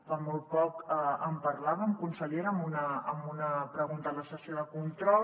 fa molt poc en parlàvem consellera amb una pregunta a la sessió de control